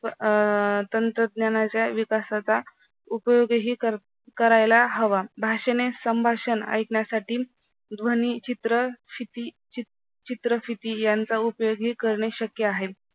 अ तंत्रज्ञानाचा विकासाचा उपयोगही करता करायला हवा अशा वेळेस संभाषण ऐकण्यासाठी ध्वनीचित्र, क्षिती चित्र चित्रक्षिती यांचा उपयोग ही करणे शक्य आहे.